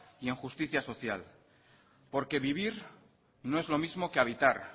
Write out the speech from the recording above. y en justicia social porque vivir no es lo mismo que habitar